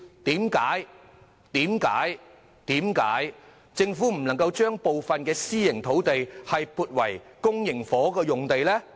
政府為何不能把部分私營土地改變為公營房屋用地呢？